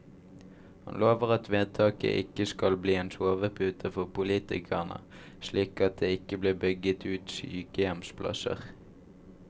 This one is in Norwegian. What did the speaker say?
Han lover at vedtaket ikke skal bli en sovepute for politikerne, slik at det ikke blir bygget ut sykehjemsplasser.